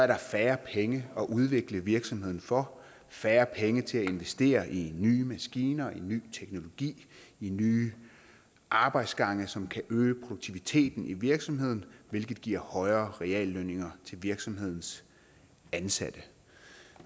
der færre penge at udvikle virksomheden for færre penge til at investere i nye maskiner i ny teknologi i nye arbejdsgange som kan øge produktiviteten i virksomheden hvilket giver højere reallønninger til virksomhedens ansatte